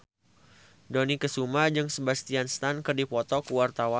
Dony Kesuma jeung Sebastian Stan keur dipoto ku wartawan